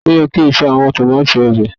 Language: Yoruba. ti o yẹ ki o ṣe awọn tomati obe.